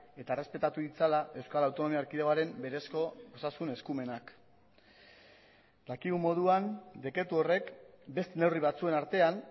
eta errespetatu ditzala euskal autonomia erkidegoaren berezko osasun eskumenak dakigun moduan dekretu horrek beste neurri batzuen artean